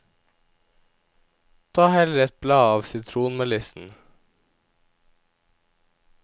Ta heller et blad av sitronmelissen.